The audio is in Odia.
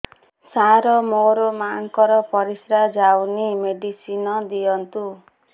ସାର ମୋର ମାଆଙ୍କର ପରିସ୍ରା ଯାଉନି ମେଡିସିନ ଦିଅନ୍ତୁ